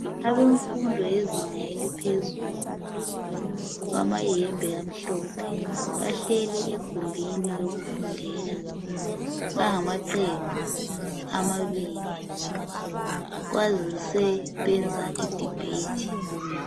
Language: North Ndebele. Abemfundo yezinga eliphezulu bamayembe amhlophe bahleli egumbini lokufundela, bangamaqembu amabili kwazise benza idibhethi.